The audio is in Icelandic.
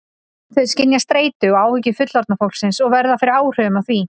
Þau skynja streitu og áhyggjur fullorðna fólksins og verða fyrir áhrifum af því.